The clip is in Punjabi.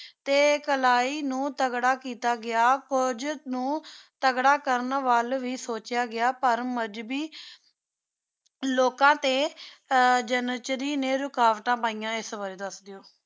ਤੇ ਕਲਾਈ ਨੂ ਤਗੜਾ ਕੀਤਾ ਗਯਾ ਫੋਜ ਨੂ ਤਗੜਾ ਕਰਨ ਵਲ ਵੇ ਸੋਚ੍ਯਾ ਗਿਆ ਪਰ ਮਜ਼ਹਬੀ ਲੋਕਾਂ ਤੇ ਅਰ ਜਾਨ੍ਚ੍ਰੀ ਨੇ ਰੁਕਾਵਟਾਂ ਪਾਇਆ ਇਸ ਬਾਰੇ ਦਸ ਦੋ